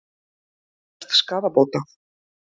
Hann krefst skaðabóta